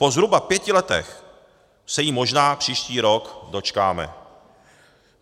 Po zhruba pěti letech se jí možná příští rok dočkáme.